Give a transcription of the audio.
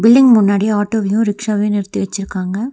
Building முன்னாடி auto வையும் rickshaw வையும் நிறுத்தி வச்சிருக்காங்க.